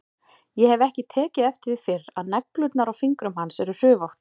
Ég hef ekki tekið eftir því fyrr að neglurnar á fingrum hans eru hrufóttar.